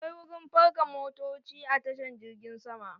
Akwai wurin parka motoci a tashan girgin sama